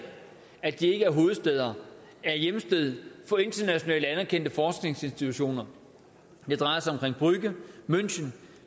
at de ikke er hovedstæder er hjemsted for internationalt anerkendte forskningsinstitutioner det drejer sig om brügge münchen